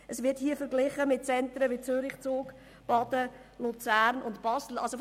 Diese wird in der Studie mit Zentren wie Zürich, Zug, Baden, Luzern und Basel verglichen.